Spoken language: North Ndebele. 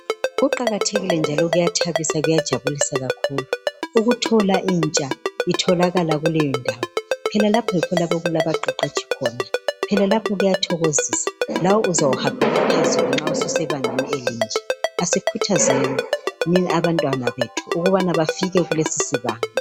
Kuqakathekile njalo kuyathabisa kuyajabulisa kakhulu ukuthola intsha itholakala kuleyondawo. Phela lapha yikho okulabaqeqetshi khona. Kuyathokozisa lawe uzahambela phezulu nxa ususebangeni elinje. Asikhuthazeni abantu ukubana bafike kulesi sibanga.